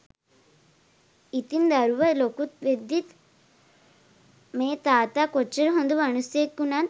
ඉතිං දරුව ලොකු වෙද්දිත් මේ තාත්තා කොච්චර හොඳ මනුස්සයෙක් උනත්